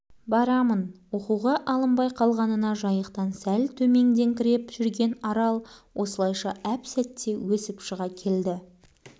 барамын оқуға алынбай қалғанына жайықтан сәл төмендеңкіреп жүрген арал осылайша әп-сәтте өсіп шыға келді